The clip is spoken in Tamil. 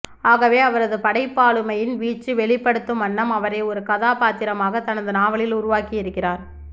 ஆகவே அவரது படைப்பாளுமையின் வீச்சி வெளிப்படுத்தும் வண்ணம் அவரை ஒரு கதாபாத்திரமாகத் தனது நாவலில் உருவாக்கியிருக்கிறார்